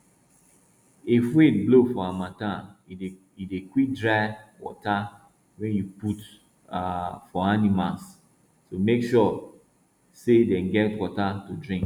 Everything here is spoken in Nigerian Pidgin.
if wind blow for harmattan e dey quick dry water wey you put um for animals so make sure say dem get water to drink